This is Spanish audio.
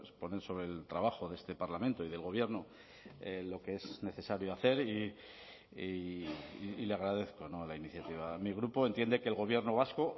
poner sobre el trabajo de este parlamento y del gobierno lo que es necesario hacer y le agradezco la iniciativa mi grupo entiende que el gobierno vasco